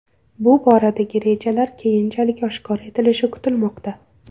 Bu boradagi rejalar keyinchalik oshkor etilishi kutilmoqda.